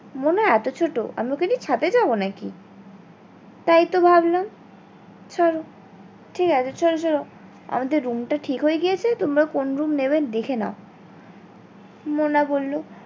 মোনা এতো ছোট আমরা ওকে নিয়ে ছাদে যাবো নাকি তাই টি ভাবলাম ছাড়ো, ঠিক আছে চলো চলো আমাদের room টা ঠিক হয়ে গিয়েছে তোমরা কোন room নিবে দেখে নাও মোনা বললো